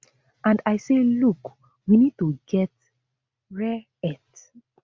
and i say look we need to get rare earth